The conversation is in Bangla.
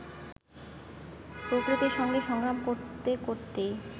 প্রকৃতির সঙ্গে সংগ্রাম করতে করতেই